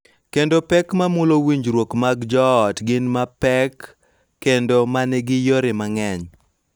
Kendo pek ma mulo winjruok mag joot gin mapek kendo ma nigi yore mang�eny.